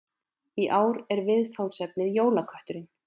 Í ár er viðfangsefnið Jólakötturinn